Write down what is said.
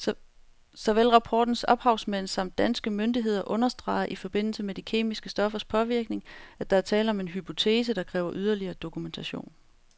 Såvel rapportens ophavsmænd samt danske myndigheder understreger i forbindelse med de kemiske stoffers påvirkning, at der er tale om en hypotese, der kræver yderligere dokumentation.